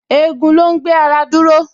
Egun ló ń gbé ara dúró